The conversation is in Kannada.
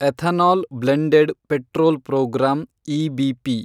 ethanol blended petrol program, EBP